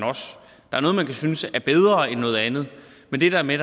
synes er bedre end noget andet men det der med